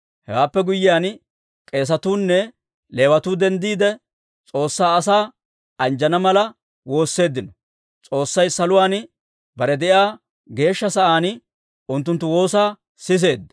Hewaappe guyyiyaan, k'eesatuu nne Leewatuu denddiide, S'oossay asaa anjjana mala woosseeddino; S'oossay saluwaan, bare de'iyaa geeshsha sa'aan unttunttu woosaa siseedda.